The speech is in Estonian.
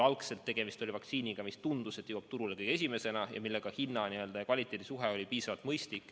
Algselt oli tegemist vaktsiiniga, mille puhul tundus, et see jõuab turule kõige esimesena ning mille hinna ja kvaliteedi suhe oli piisavalt mõistlik.